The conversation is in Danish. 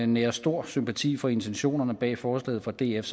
nærer stor sympati for intentionerne bag forslaget fra df